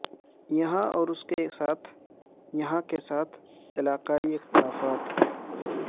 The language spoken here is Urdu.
یہاں اور اس کے ساتھ یہاں کے ساتھ علاقائی اختلافات